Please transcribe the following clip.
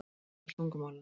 Þar á meðal tungumálinu.